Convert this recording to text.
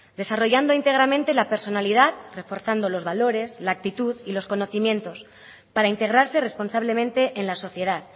desarrollando íntegramente la personalidad reforzando los valores la actitud y los conocimientos para integrarse responsablemente en la sociedad